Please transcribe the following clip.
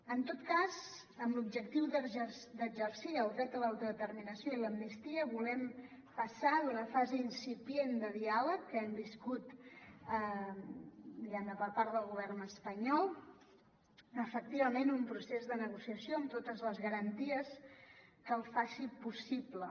en tot cas amb l’objectiu d’exercir el dret a l’autodeterminació i l’amnistia volem passar d’una fase incipient de diàleg que hem viscut diguem ne per part del govern espanyol a efectivament un procés de negociació amb totes les garanties que el faci possible